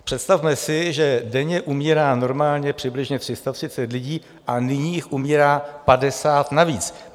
Představme si, že denně umírá normálně přibližně 330 lidí a nyní jich umírá 50 navíc.